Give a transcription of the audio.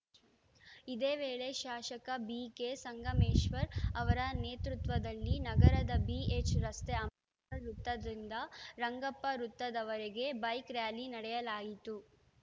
ಇದೇ ವೇಳೆ ಶಾಸಕ ಬಿಕೆ ಸಂಗಮೇಶ್ವರ್‌ ಅವರ ನೇತೃತ್ವದಲ್ಲಿ ನಗರದ ಬಿಎಚ್‌ ರಸ್ತೆ ಅಂಬೇರ್‌ ವೃತ್ತದಿಂದ ರಂಗಪ್ಪ ವೃತ್ತದವರೆಗೆ ಬೈಕ್‌ ರ್‍ಯಾಲಿ ನಡೆಸಲಾಯಿತು